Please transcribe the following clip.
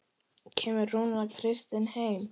Kemur Rúnar Kristins heim?